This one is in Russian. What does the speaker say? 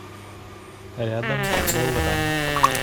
рядом вэллран